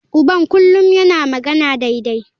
Uban kullum yana magana daidai.